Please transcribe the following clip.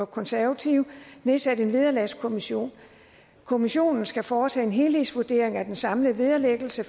konservative nedsat en vederlagskommission kommissionen skal foretage en helhedsvurdering af den samlede vederlæggelse